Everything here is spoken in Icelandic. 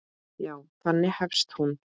Já, þannig hefst hún.